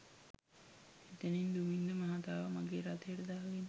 එතැනින් දුමින්ද මහතාව මගේ රථයට දාගෙන